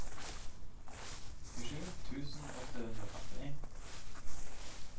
tjuesju tusen åtte hundre og femtini